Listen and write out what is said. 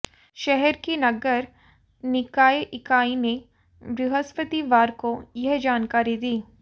शहर की नगर निकाय इकाई ने बृहस्पतिवार को यह जानकारी दी